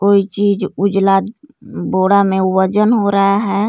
कोई चीज उजला बोडा में वजन हो रहा है.